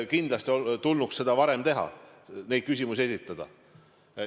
Kindlasti tulnuks seda varem teha ja neid küsimusi esitada.